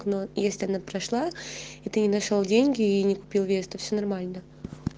но есть одна прошла и ты не нашёл деньги и не купил веста то все нормально